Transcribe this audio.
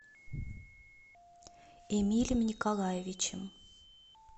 эмилем николаевичем